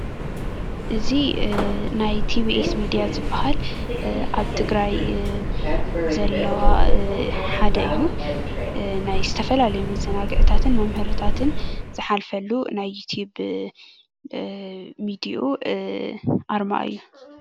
እዚ ናይ ቲቬኤስ ሚድያ ዝብሃል ኣብ ትግራይ ዘለዋ ሓደ እዩ:: ናይ ዝተፈላለዩ መዘናግዕታትን መምሀርታትን ዝሓልፈሉ ናይ ዩቱብ ሜድዩኡ ኣርማ እዩ::